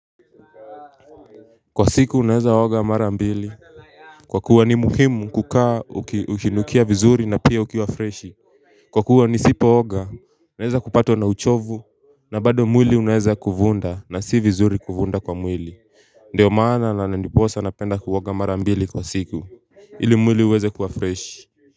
Kwa siku naezaoga mara mbili. Kwa kuwa ni muhimu kukaa ukinukia vizuri na pia ukiwa freshi. Kwa kuwa nisipooga unaeza kupat una uchovu na bado mwili unaeza kuvunda na si vizuri kuvunda kwa mwili. Ndio maana na ndiposa napenda kuoga mara mbili kwa siku ili mwili uweze kuwa fresh kwa hivyo.